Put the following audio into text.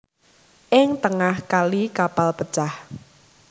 Ing tengah kali kapal pecah